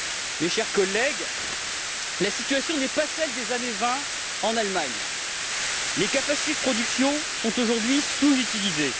Mes chers collègues, la situation n'est pas celle des années 20 en Allemagne les capacités de production sont aujourd'hui sous utilisées.